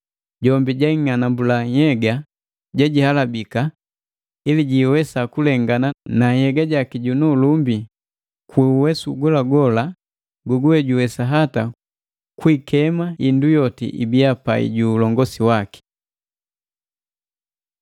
jombi jwaing'anambula nhyega jejihalabika, ili jiwesa kulengana na nhyega jaki junu ulumbi, ku uwesu golagola goguwe juwesa hata kwi ikema indu yoti ibia pai ju ulongosi waki.